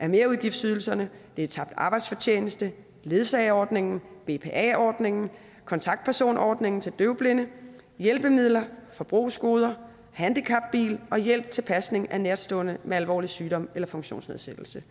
er merudgiftsydelserne tabt arbejdsfortjeneste ledsageordningen bpa ordningen kontaktpersonordningen til døvblinde hjælpemidler forbrugsgoder handicapbil og hjælp til pasning af nærtstående med alvorlig sygdom eller funktionsnedsættelse